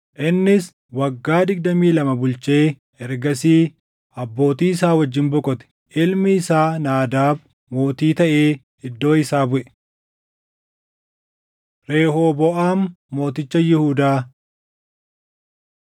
Innis waggaa digdamii lama bulchee ergasii abbootii isaa wajjin boqote. Ilmi isaa Naadaab mootii taʼee iddoo isaa buʼe. Rehooboʼaam Mooticha Yihuudaa 14:21,25‑31 kwf – 2Sn 12:9‑16